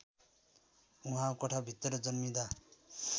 उहाँ कोठाभित्र जन्मिँदा